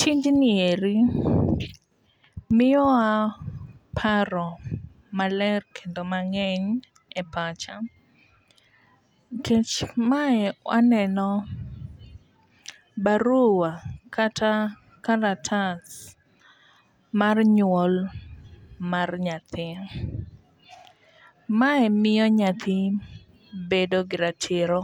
Tijni eri miyowa paro maler kendo mang'eny e pacha nikech mae aneno barua kata kalatas mar nyuol mar nyathi. Mae miyo nyathi bedo gi ratiro